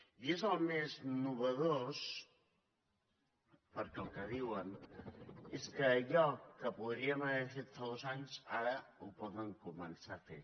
i és el més nou perquè el que diuen és que allò que podríem haver fet fa dos anys ara ho poden començar a fer